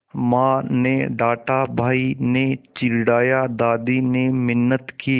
माँ ने डाँटा भाई ने चिढ़ाया दादी ने मिन्नत की